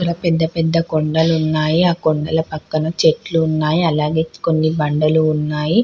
అక్కడ పెద్ద పెద్ద కొండలున్నాయి. ఆ కొండల పక్కన చెట్లు ఉన్నాయి అలాగే కొన్ని బండలు ఉన్నాయి.